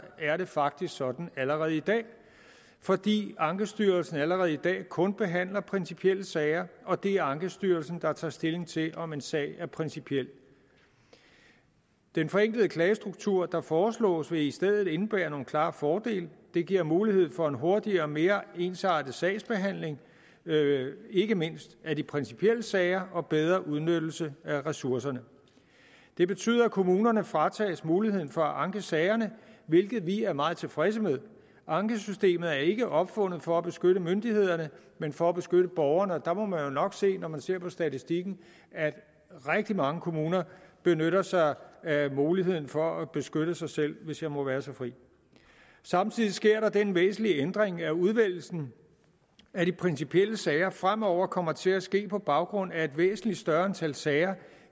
er det faktisk sådan allerede i dag fordi ankestyrelsen allerede i dag kun behandler principielle sager og det er ankestyrelsen der tager stilling til om en sag er principiel den forenklede klagestruktur der foreslås vil i stedet indebære nogle klare fordele det giver mulighed for en hurtigere og mere ensartet sagsbehandling ikke mindst af de principielle sager og bedre udnyttelse af ressourcerne det betyder at kommunerne fratages muligheden for at anke sagerne hvilket vi er meget tilfredse med ankesystemet er ikke opfundet for at beskytte myndighederne men for at beskytte borgerne og der må man jo nok sige når man ser på statistikken at rigtig mange kommuner benytter sig af muligheden for at beskytte sig selv hvis jeg må være så fri samtidig sker der den væsentlige ændring at udvælgelsen af de principielle sager fremover kommer til at ske på baggrund af et væsentlig større antal sager